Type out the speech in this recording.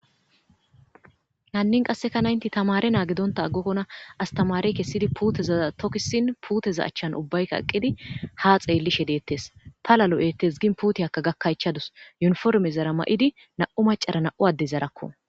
hannin qasseka naynti tamare naa Gidonta aggokkona astamare kessidi puuteza tokkisin puteza achchan ubbaykka eqqidi ha xeellishe deettes pala lo'ettes gin puuteyakka gakkaychadus yuniforme zara ma'idi na'u macara na'u adde zarakko.